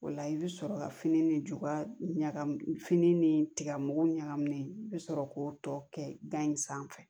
O la i bɛ sɔrɔ ka fini ni juba ɲagami fini ni tiga mugu ɲagaminen i bɛ sɔrɔ k'o tɔ kɛ gan in sanfɛ